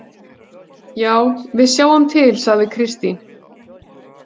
Já, við sjáum til, sagði Kristín.